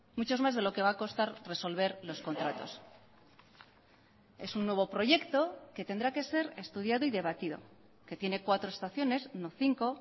muchos más de lo que va a costar resolver los contratos es un nuevo proyecto que tendrá que ser estudiado y debatido que tiene cuatro estaciones no cinco